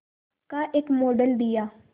का एक मॉडल दिया